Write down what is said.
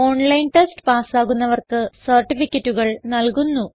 online test പാസ്സാകുന്നവർക്ക് സർട്ടിഫികറ്റുകൾ നല്കുന്നു